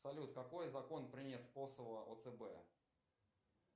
салют какой закон принят в косово о цб